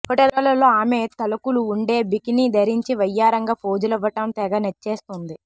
ఫోటోలలో ఆమె తళుకులు ఉండే బికినీ ధరించి వయ్యారంగా పోజులివ్వటం తెగ నచ్చేస్తోంది